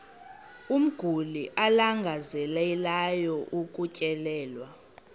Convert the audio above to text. umguli alangazelelayo ukutyelelwa